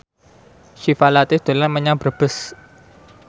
Syifa Latief dolan menyang Brebes